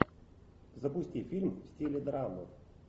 запусти фильм в стиле драмы